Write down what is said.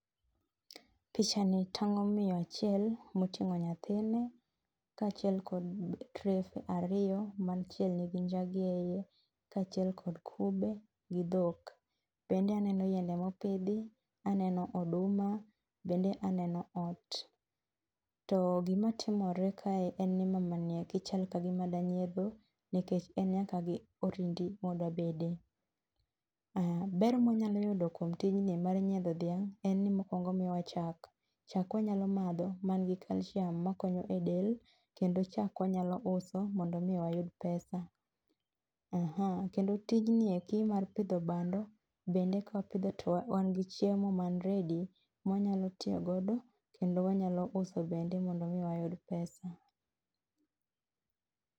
Picha ni tang'o miyo achiel moting'o nyathine, ka achiel kod trefe ariyo ma achiel nigi njagi eyi, ka chiel kod kube gi dhok. Bende aneno yiende mopidhi ,aneno oduma, bende aneno ot. To gima timore kae en ni mama ni eki chal ka gima da nyiedho nikech en nyaka gi orindi ma odwa bede. Ber ma wanyalo yudo kuom tijni mar nyiedho dhiang' en ni mokuongo omiyowa chak. Chak wanyalo madho man gi calcium makonyo e del kendo chak wanyalo uso mondo mi wayud pesa. Kendo tijni eki mar pidho bando bende kawapidho to wan gi chiemo man ready ma wanyalo tiyo godo kendo wanyalo uso bende mondo mi wayud pesa.